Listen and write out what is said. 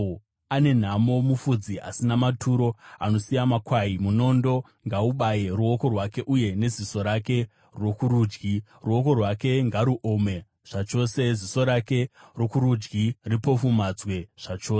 “Ane nhamo mufudzi asina maturo anosiya makwai! Munondo ngaubaye ruoko rwake uye neziso rake rokurudyi! Ruoko rwake ngaruome zvachose, ziso rake rokurudyi ripofumadzwe zvachose!”